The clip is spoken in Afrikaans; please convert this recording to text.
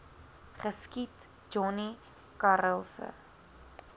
geskiet johnny karelse